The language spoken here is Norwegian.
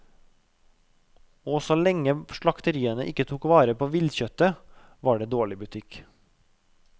Og så lenge slakteriene ikke tok vel vare på villkjøttet, var det dårlig butikk.